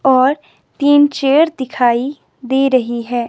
और तीन चेयर दिखाई दे रही है।